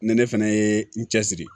Ni ne fɛnɛ ye n cɛ siri